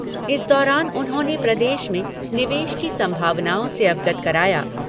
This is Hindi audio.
इस दौरान उन्होंने प्रदेश में निवेश की संभावनाओं से अवगत कराया।